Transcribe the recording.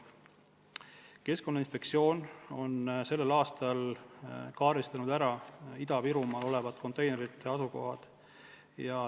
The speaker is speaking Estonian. Keskkonnainspektsioon on sellel aastal kaardistanud ära Ida-Virumaal olevad konteinerite asukohad.